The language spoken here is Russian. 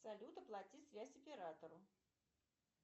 салют оплати связь оператору